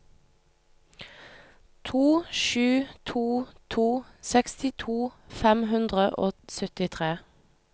to sju to to sekstito fem hundre og syttitre